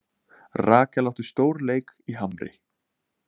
Rakel átti stórleik í Hamri